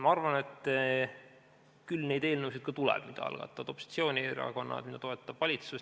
Ma arvan, et küll neid eelnõusid ka tuleb, mida algatavad opositsioonierakonnad ja mida toetab valitsus.